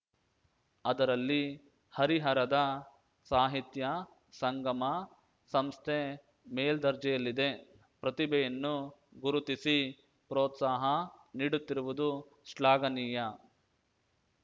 ಅದರಲ್ಲಿ ಹರಿಹರದ ಸಾಹಿತ್ಯ ಸಂಗಮ ಸಂಸ್ಥೆ ಮೇಲ್ದರ್ಜೆಯಲ್ಲಿದೆ ಪ್ರತಿಭೆಯನ್ನು ಗುರುತಿಸಿ ಪ್ರೋತ್ಸಾಹ ನೀಡುತ್ತಿರುವುದು ಶ್ಲಾಘನೀಯ